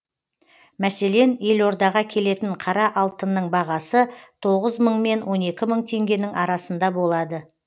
мәслен елордаға келетін қара алтынның бағасы тоғыз мың мен он екі мың теңгенің арасында болады